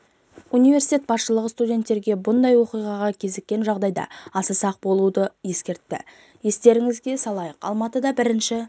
университет басшылығы студенттерге бұндай оқиғаға кезіккен жағдайда аса сақ болуды ескертті естеріңізге салайық алматыда бірінші